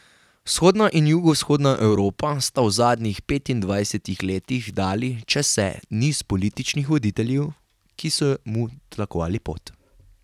Vzhodna in jugovzhodna Evropa sta v zadnjih petindvajsetih letih dali čezse niz političnih voditeljev, ki so mu tlakovali pot.